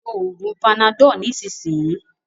ló oògùn Panadol nisisiyi!